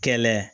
Kɛlɛ